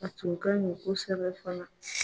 A tun ka ɲi kosɛbɛ fana